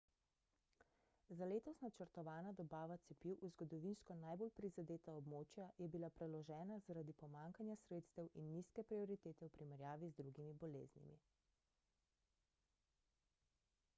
za letos načrtovana dobava cepiv v zgodovinsko najbolj prizadeta območja je bila preložena zaradi pomanjkanja sredstev in nizke prioritete v primerjavi z drugimi boleznimi